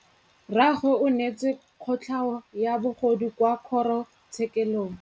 Rragwe o neetswe kotlhaô ya bogodu kwa kgoro tshêkêlông.